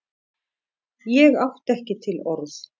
Ég átti ekki til orð.